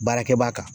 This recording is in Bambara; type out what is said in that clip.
Baarakɛ baa kan